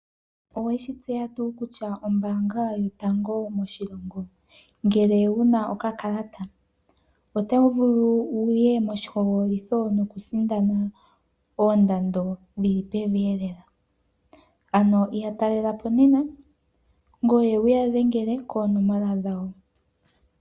Oweshi tseya tuu kutya ombaanga yotango moshilongo, ngele wu na okakalata, oto vulu wu ye moshihogololitho nokusindana oondando dhi li peveelela? Ano ya talela po nena, ngoye wu ya dhengele koonomola dhawo.